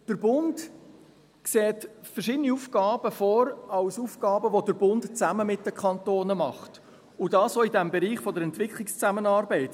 Der Bund sieht verschiedene Aufgaben als Aufgaben vor, die der Bund zusammen mit den Kantonen macht, und dies auch im Bereich der Entwicklungszusammenarbeit.